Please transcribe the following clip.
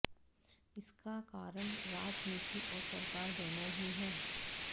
इसका कारण राजनीति और सरकार दोनों ही है